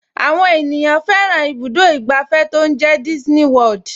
Àwọn ènìyàn fẹ́ràn ibùdó ìgbàfẹ́ tó ń jẹ́ Disney World